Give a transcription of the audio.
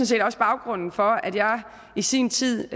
set også baggrunden for at jeg i sin tid